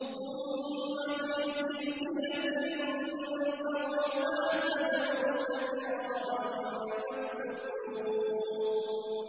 ثُمَّ فِي سِلْسِلَةٍ ذَرْعُهَا سَبْعُونَ ذِرَاعًا فَاسْلُكُوهُ